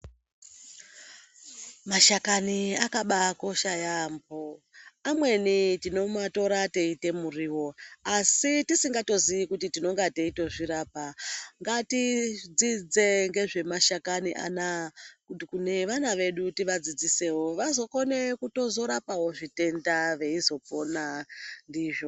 Mashakani akabaakosha yaambo amweni tinotora teyiite muriwo asi tisingatozivi kuti tinonga teyitozvirapa ngatidzide ngezve mashakani anaya kuti kune vana vedu tivadzidzisewo vazotokhone kutorapa zvitenda veyizopona ndizvo.